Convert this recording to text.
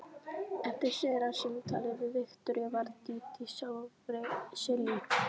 Eftir seinna símtalið við Viktoríu varð Dídí sjálfri sér lík.